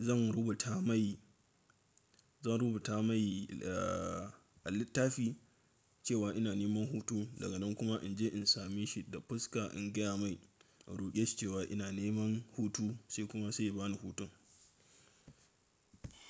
zan rubuta mai, zan rubuta mai a littafi cewa ina neman hutu daga nan kuma in je in same shi da fuska in gaya mai, in ruƙeshi cewa ina neman hutu sai kuma sai ya bani hutun.